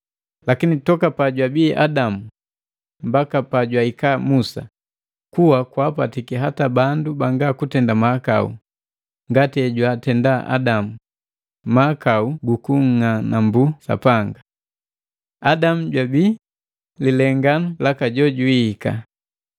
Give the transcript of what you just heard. Lakini toka pajwabii Adamu mbaka pajwahikiki Musa, kuwa kwaapatiki hata bandu banga kutenda mahakau ngati hejwatenda Adamu, mahakau guku nng'anambuka Sapanga. Adamu jwabii lilenganu laka jola jojwihika.